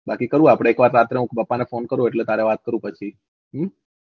બાકી કૌ આપડે એક રાત્રે હું પપ્પા ને phone કરું એટલે તારે વાત કરું પછી હમ